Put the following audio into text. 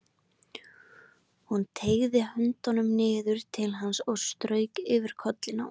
Hún teygði höndina niður til hans og strauk yfir kollinn á honum.